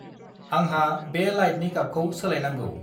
आंहा बे लाइटनि गाबखौ सोलायनांगौ।